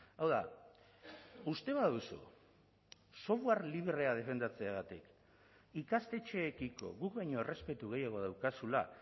hau da uste baduzu software librea defendatzeagatik ikastetxeekiko guk baino errespetu gehiago daukazula